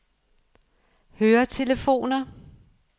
høretelefoner